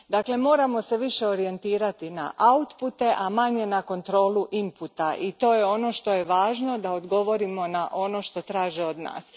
Dakle, moramo se više orijentirati na outpute, a manje na kontrolu inputa i to je ono što je važno da odgovorimo na ono što traže od nas.